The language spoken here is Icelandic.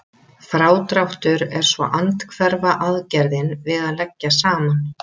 Frádráttur er svo andhverfa aðgerðin við að leggja saman.